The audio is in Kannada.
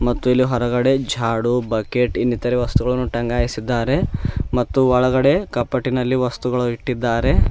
ಮತ್ತು ಇಲ್ಲಿ ಹೊರಗಡೆ ಜಾಡು ಬಕೆಟ್ ಇನ್ನಿತರ ವಸ್ತುಗಳನ್ನು ಟಗ್ಗಾಯಿಸುತ್ತಿದ್ದಾರೆ ಮತ್ತು ಒಳಗಡೆ ಕಪಟ್ಟಿನಲ್ಲಿ ವಸ್ತುಗಳು ಇಟ್ಟಿದ್ದಾರೆ.